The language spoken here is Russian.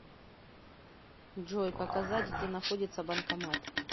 джой показать где находится банкомат